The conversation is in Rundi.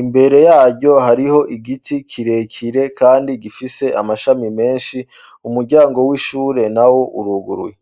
imbere yaryo hariho igiti kirekire kandi gifise amashami menshi umuryango w'ishure na wo uruguruye.